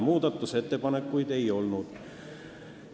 Muudatusettepanekuid ei olnud.